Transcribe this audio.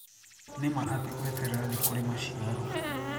Nĩ ma atĩ gweterera nĩkurĩ maciaro